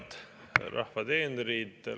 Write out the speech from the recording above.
Head rahva teenrid!